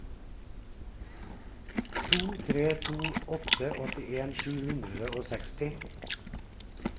to tre to åtte åttien sju hundre og seksti